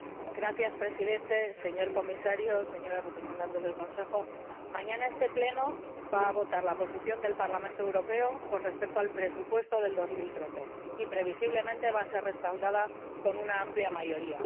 Señor Presidente, señor Comisario, señores representantes del Consejo, mañana este Pleno va a votar la posición del Parlamento Europeo con respecto al presupuesto de 2013, que previsiblemente va a ser respaldada con una amplia mayoría.